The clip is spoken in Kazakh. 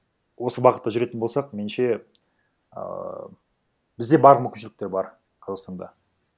осы бағытта жүретін болсақ меніңше ыыы бізде барлық мүмкіншіліктер бар қазақстанда